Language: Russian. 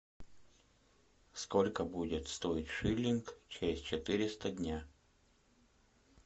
сколько будет стоить шиллинг через четыреста дня